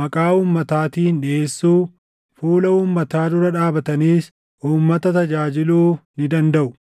maqaa uummataatiin dhiʼeessuu, fuula uummataa dura dhaabataniis uummata tajaajiluu ni dandaʼu.